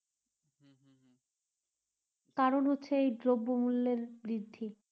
কারণ হচ্ছে এই দ্ৰব্য মূল্যের বৃদ্ধি